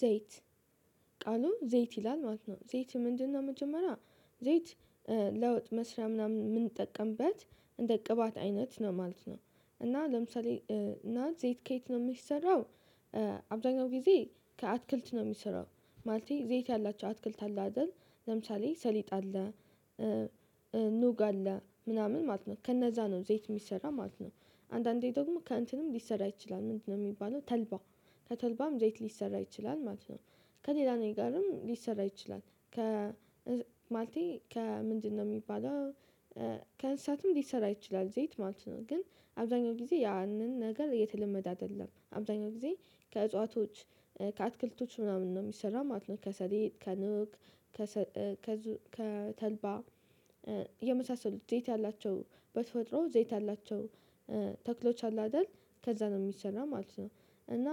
ዘይት ቃሉ ዘይት ይላል ማለት ነው ዘይት ምንድነው? መጀመሪያ ዘይት ለወጥ መስሪያ ምናምን የምንጠቀምበት እንደ ቅባት አይነት ነው ማለት ነው። እና ለምሳሌ እና የት ከየት ነው የምሰራው? አብዛኛው ጊዜ ከአትክልት ነው የሚሰራው ማለቴ ዘይት ያላቸው አትክልት አለ አይደል ለምሳሌ ሰሊጥ አለ። ኑግ አለ ምናምን ማለት ነው ከነዛ ነው ዘይት የሚሰራው ማለት ነው። አንዳንዴ ደግሞ ከእንትንም ሊሰራ ይችላል ምንድነው የሚባለው ተልባ ከተልባም ዘይት ሊሰራ ይችላል ማለት ነው። ከሌላ ነገርም ሊሰራ ይችላል። ማለቴ ከ ምንድነው የሚባለው ከእንስሳትም ሊሰራ ይችላል ዘይት ማለት ነው። ግን አብዛኛው ጊዜ ያንን ነገር እየተለመደ አይደለም አብዛኛው ጊዜ ከእጽዋቶች ከአትክልቶች ምናምን ነው የሚሰራው ማለት ነው። ከሰሊጥ ከኑግ ከተልባ የመሳሰሉት ዘይት ያላቸው በተፈጥሮ ዘይት ያላቸው ተክሎች አሉ አይደል ከዛ ነው የሚሰራው ማለት ነው። እና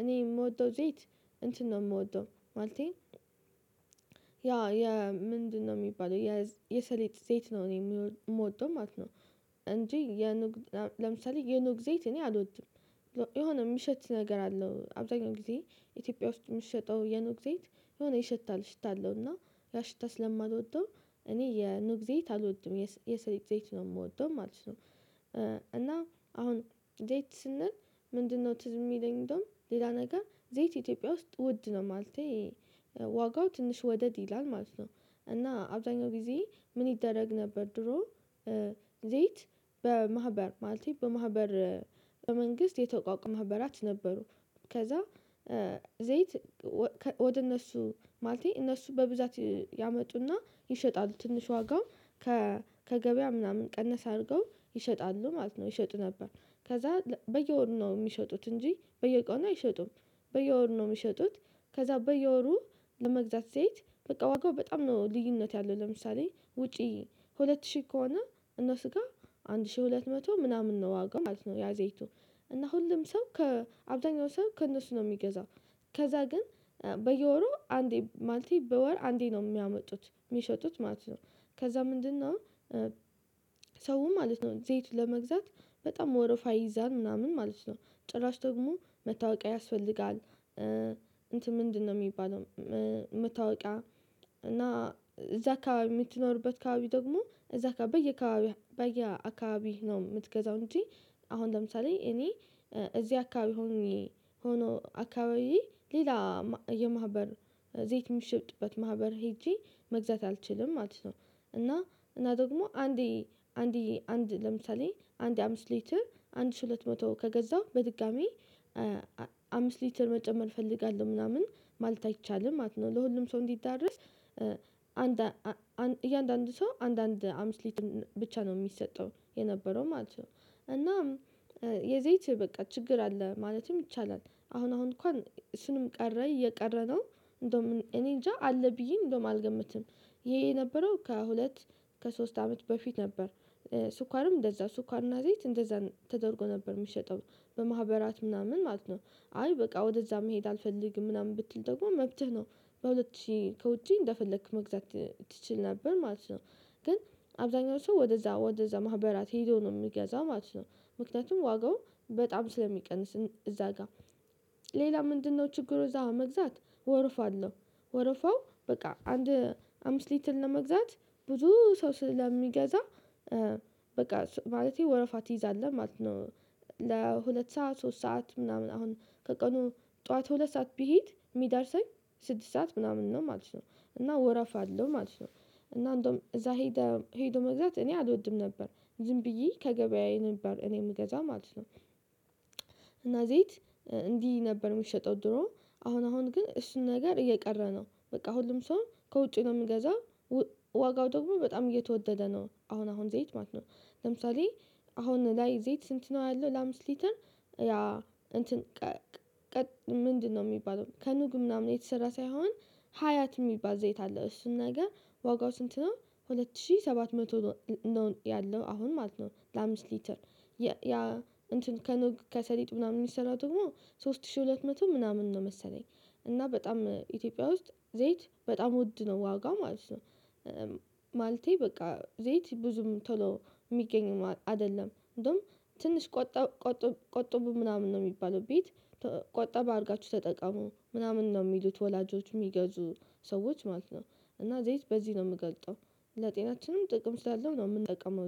እኔ የምወደው ዘይት እንትን ነው የምወደው ማለቴ ያ የምንድነው የሚባለው የሰሊጥ ዘይት ነው እኔ የምወደው ማለት ነው። እንጂ የኑግ ለምሳሌ የኑግ ዜይት እኔ አልወድም። የሆነ የሚሸት ነገር አለው አብዛኛው ጊዜ ኢትዮጵያ ውስጥ የምሸጠው የኑግ ዘይት የሆነ ይሸታል ሽታ አለው እና ያ ሽታ ስለማልወደው እኔ የኑግ ዘይት አልወድም የሰሊጥ ዘይት ነው የምወደው ማለት ነው። እና አሁን ዘይት ስንል ምንድነው ትዝ የሚለኝ እንደውም ሌላ ነገር ዘይት ኢትዮጵያ ውስጥ ውድ ነው ማለቴ ዋጋው ትንሽ ወደድ ይላል ማለት ነው። እና አብዛኛው ጊዜ ምን ይደረግ ነበር? ድሮ ዘይት በማህበር ማለት በማህበር በመንግስት የተቋቋመ ማህበራት ነበሩ። ከዛ ዘይት ወደ እነሱ ማለቴ እነሱ በብዛት ያመጡና ይሸጣሉ ትንሽ ዋጋው ከገበያ ምናምን ቀነስ አድርገው ይሸጣሉ ማለት ነው ይሸጡ ነበር። ከዛ በየወሩ ነው የሚሸጡት እንጂ በየቆኑ አይሸጡም። በየወሩ ነው የሚሸጡት። ከዛ በየወሩ ለመግዛት ስሄድ በቃ ዋጋው በጣም ነው ልዩነት ያለው ለምሳሌ ውጪ ሁለት ሺህ ከሆነ እነሱ ጋር አንድ ሺህ ሁለት መቶ ምናምን ነው ዋጋው ማለት ነው። ያ ዘይቱ እና ሁሉም ሰው ከአብዛኛው ሰው ከእነሱ ነው የሚገዛው። ከዛ ግን በየወሩ አንዴ ማለቴ በወር አንዴ ነው የሚያመጡት የሚሸጡት ማለት ነው። ከዛ ምንድነው? ሰው ማለት ነው ዘይት ለመግዛት በጣም ወረፋ ይይዛል ምናምን ማለት ነው። ጭራሽ ደግሞ መታወቂያ ያስፈልጋል እንትን ምንድነው የሚባለው? መታወቂያ እና እዛ አካባቢ የምትኖርበት አካባቢ ደግሞ እዛ በየአካባቢ በየአካባቢ ነው የምትገዛው እንጂ አሁን ለምሳሌ እኔ እዚህ አካባቢ ሆኖ አካባቢ ሌላ የማህበር ዘይት የምትሸጥበት ማህበር ሄጄ መግዛት አልችልም ማለት ነው። እና እና ደግሞ አንዴ አንዴ አንዴ ለምሳሌ አንዴ አምስት ሊትር አንድ ሺህ ሁለት መቶ ከገዛው በድጋሚ አምስት ሊትር መጨመር እፈልጋለሁ ምናምን ማለት አይቻልም ማለት ነው። ለሁሉም ሰው እንዲዳረስ አንድ እያንዳንዱ ሰው አንድ አምስት ሊት ብቻ ነው የሚሰጠው የነበረው ማለት ነው። እናም የዘይት በቃ ችግር አለ ማለትም ይቻላል አሁን አሁን እንኳን እሱንም ቀረ እየቀረ ነው እንደውም እኔ እንጃ አለ ብዬ እንደውም አልገምትም። ይሄ የነበረው ከሁለት ከሶስት አመት በፊት ነበር። ስኳርም እንደዛ ስኳርና ዘይት እንደዛ ተደርጎ ነበር የሚሸጠው በማህበራት ምናምን ማለት ነው። አይ በቃ ወደዛ መሄድ አልፈልግም ምናምን ብትል ደግሞ መብትህ ነው። በሁለት ሺህ ከውጪ እንደፈለክ መግዛት ትችል ነበር ማለት ነው። ግን አብዛኛው ሰው ወደዛ ወደዛ ማህበራት ሄዶ ነው የሚገዛው ማለት ነው። ምክንያቱም ዋጋው በጣም ስለሚቀንስ እዛ ጋር ሌላ ምንድነው ችግሩ? እዛ መግዛት ወርፋ አለሁ ወርፋው በቃ አንድ አምስት ሊትር ለመግዛት ብዙ ሰው ስለሚገዛ በቃ ማለቴ ወረፋ ትይዛለህ ማለት ነው። ለሁለት ሰዓት ሶስት ሰዓት ምናምን አሁን ከቀኑ ጠዋት ሁለት ሰዓት ቢሄድ የሚዳርሰኝ ስድስት ሰዓት ምናምን ነው ማለት ነው እና ወረፍ አለው ማለት ነው። እና እንደውም እዛ ሄደው መግዛት እኔ አልወድም ነበር ዝም ብዬ ከገበያዬ ነበር እኔ የምገዛው ማለት ነው። እና ዘይት እንዲህ ነበር የሚሸጠው ድሮ አሁን አሁን ግን እሱ ነገር እየቀረ ነው በቃ ሁሉም ሰው ከውጪ ነው የምገዛው። ዋጋው ደግሞ በጣም እየተወደደ ነው አሁን አሁን ዘይት ማለት ነው። ለምሳሌ አሁን ላይ ዘይት ስንት ነው ያለው ለአምስት ሊትር? ያ እንትን ቀቅ ምንድነው የሚባለው ከኑግ ምናምን የተሰራ ሳይሆን ሀያት የሚባል ዘይት አለው። እሱን ነገር ዋጋው ስንት ነው? ሁለት ሺህ ሰባት መቶ ነው ያለው አሁን ማለት ነው ለአምስት ሊትር ያ እንትን ከኑግ ከሰሊጥ ምናምን የሚሰራው ደግሞ ሶስት ሺህ ሁለት መቶ ምናምን ነው መሰለኝ እና በጣም ኢትዮጵያ ውስጥ ዘይት በጣም ውድ ነው ዋጋው ማለት ነው። ማለቴ በቃ ዘይት ብዙም ቶሎ የሚገኝ አይደለም እንደውም ትንሽ ቆጠብ ቆጠብ ቆጠቡ ምናምን ነው የሚባለው ቤት ቆጠብ አርጋችሁ ተጠቀሙ ምናምን ነው የሚሉት ወላጆች የሚገዙ ሰዎች ማለት ነው። እና ዘይት በዚህ ነው የምገልጠው ለጤናችንም ጥቅም ስላለው ነው የምንጠቀመው